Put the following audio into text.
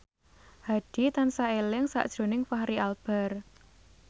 Hadi tansah eling sakjroning Fachri Albar